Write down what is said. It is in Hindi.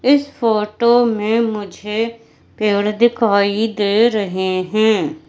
इस फोटो में मुझे पेड़ दिखाई दे रहें हैं।